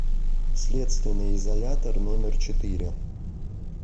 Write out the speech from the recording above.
следственный изолятор номер четыре